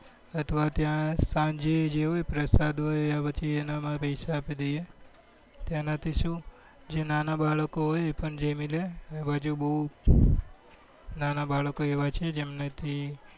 અથવા ત્યાં સાંજે જે હોય પ્રસાદ હોય તેના માં પૈસા આપી દઈએ તેના થી શું જે નાના બાળકો હોય એ પણ જામી લે એ બાજુ બઉ નાના બાળકો એવા છે જેમને થી